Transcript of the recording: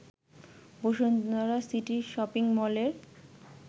Bashundhara city shopping মলের